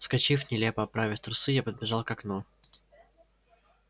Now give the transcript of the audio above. вскочив нелепо оправив трусы я подбежал к окну